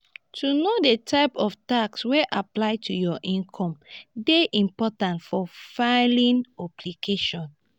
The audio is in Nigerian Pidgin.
to know di type of tax wey apply to your income dey important for filimg obligation